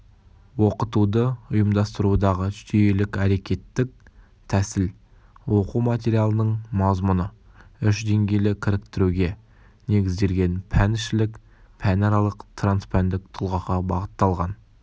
оқытуды ұйымдастырудағы жүйелік-әрекеттік тәсіл оқу материалының мазмұны үш деңгейлі кіріктіруге негізделген пәнішілік пәнаралық транспәндік тұлғаға бағытталған